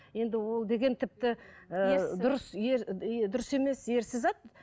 енді ол деген тіпті дұрыс емес ерсі зат